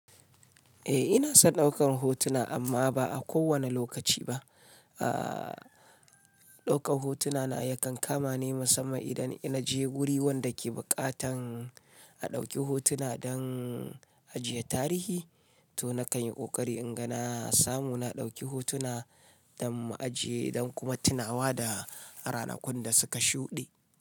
Eh ina son daukar hotuna amma ba a kowane lokaci ba. Aa daukar hotuna na yakan kama ne musamman idan na je guri wanda ke buƙatan a ɗauki hotuna don ajiye tarihi to na kanyi inga na samu na dauki hotuna don ajiye da kuma tunawa da ranakun da suka shude.